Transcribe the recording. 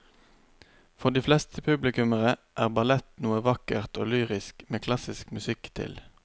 For de fleste publikummere er ballett noe vakkert og lyrisk med klassisk musikk til.